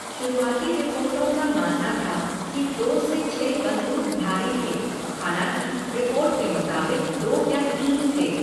शुरुआती रिपोर्टों का मानना था कि दो से छह बंदूकधारी थे, हालाँकि, रिपोर्ट के मुताबिक दो या तीन थे।